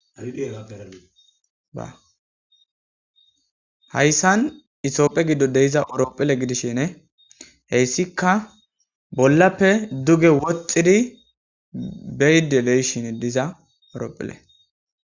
hayssan isopphe giddon de'iza orophile gidishine heyssikka bollappe duge woxxidi beyidi de'ishin diza ooropphele